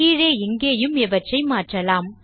கீழே இங்கேயும் இவற்றை மாற்றலாம்